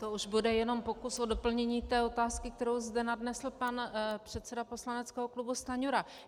To už bude jenom pokus o doplnění té otázky, kterou zde nadnesl pan předseda poslaneckého klubu Stanjura.